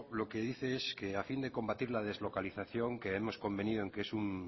lo que dice es que a fin de combatir la deslocalización que hemos convenido en que es un